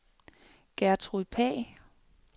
Gertrud Pagh